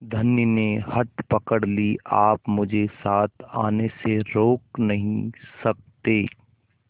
धनी ने हठ पकड़ ली आप मुझे साथ आने से रोक नहीं सकते